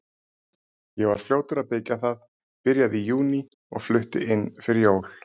Ég var fljótur að byggja það, byrjaði í júní og flutti inn fyrir jól.